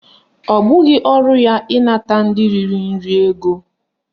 Ọ bụghị ọrụ ya ịnata ndị riri nri ego